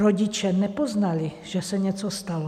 Rodiče nepoznali, že se něco stalo.